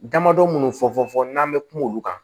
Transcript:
Damadɔ minnu fɔfɔ n'an bɛ kuma olu kan